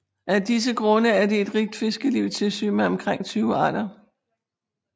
Af disse grunde er der et rigt fiskeliv i Tissø med omkring 20 arter